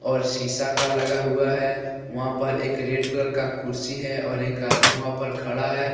और शीशा का लगा हुआ है वहां पर एक रेड कलर का कुर्सी है और एक आदमी वहां पर खड़ा है।